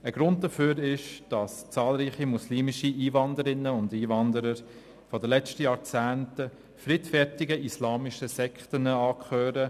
Ein Grund dafür ist, dass zahlreiche muslimische Einwanderinnen und Einwanderer der letzten Jahrzehnte friedfertigen islamischen Sekten angehören.